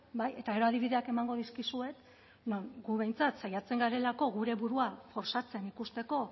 bai eta gero adibideak emango dizkizuet gu behintzat saiatzen garelako gure burua osatzen ikusteko